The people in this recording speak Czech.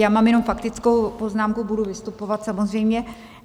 Já mám jenom faktickou poznámku, budu vystupovat samozřejmě.